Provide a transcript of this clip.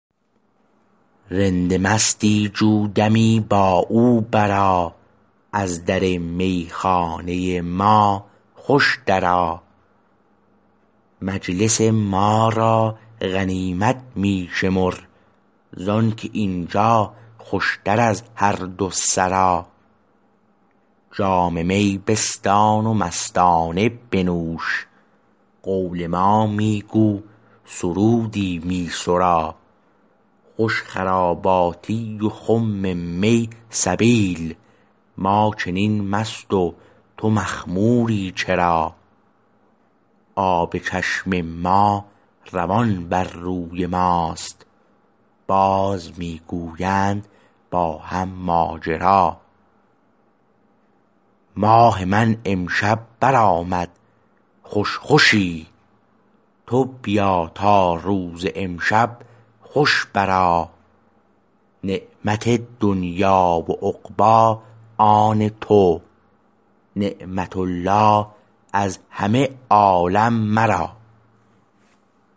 رند مستی جو دمی با او برآ از در میخانه ما خوش درآ مجلس ما را غنیمت می شمر زانکه اینجا خوشتر از هر دو سرا جام می بستان و مستانه بنوش قول ما می گو سرودی می سرا خوش خراباتی و خم می سبیل ما چنین مست و تو مخموری چرا آب چشم ما روان بر روی ما است باز می گویند با هم ماجرا ماه من امشب برآمد خوش خوشی تو بیا تا روز امشب خوش برآ نعمت دنیی و عقبی آن تو نعمت الله از همه عالم مرا